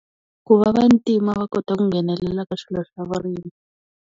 Ku va vantima va kota ku nghenelela ka swilo swa vurimi.